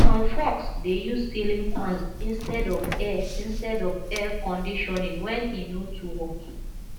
some folks dey use ceiling fans instead of air instead of air conditioning when e no too hot